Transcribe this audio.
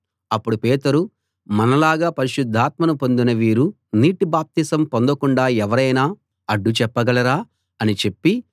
అప్పుడు పేతురు మనలాగా పరిశుద్ధాత్మను పొందిన వీరు నీటి బాప్తిస్మం పొందకుండా ఎవరైనా అడ్డు చెప్పగలరా అని చెప్పి